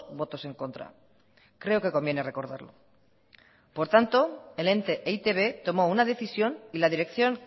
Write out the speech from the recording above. votos en contra creo que conviene recordarlo por tanto el ente e i te be tomó una decisión y la dirección